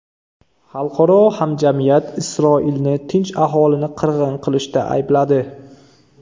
Xalqaro hamjamiyat Isroilni tinch aholini qirg‘in qilishda aybladi.